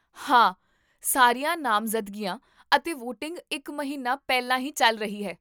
ਹਾਂ, ਸਾਰੀਆਂ ਨਾਮਜ਼ਦਗੀਆਂ ਅਤੇ ਵੋਟਿੰਗ ਇੱਕ ਮਹੀਨਾ ਪਹਿਲਾਂ ਹੀ ਚੱਲ ਰਹੀ ਹੈ